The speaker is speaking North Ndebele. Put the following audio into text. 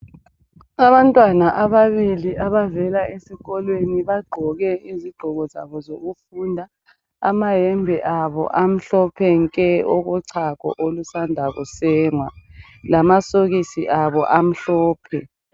Abantwana ababili abavela esikolweni, bagqoke izigqoko zabo zokufunda. Amayembe abo amhlophe nke okochago olusandwa kusengwa lamasokisi abo amhlophe.